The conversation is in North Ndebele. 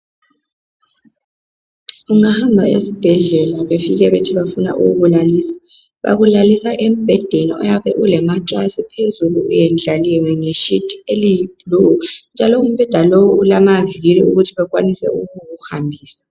Ungahamba esibhedlela befike bethi bafuna ukukulalisa, bakulalisa embhedeni oyabe ule matress phezulu uyendlaliwe nge sheet eliyi blue njalo umbheda lowu ulama viri ukuthi bakwanise ukukuhambisa.